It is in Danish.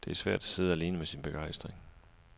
Det er svært at sidde alene med sin begejstring.